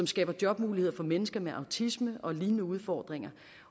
skaber jobmuligheder for mennesker med autisme og lignende udfordringer